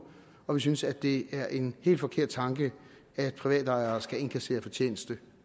og vi synes det er en helt forkert tanke at private ejere skal indkassere fortjeneste